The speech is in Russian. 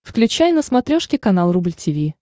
включай на смотрешке канал рубль ти ви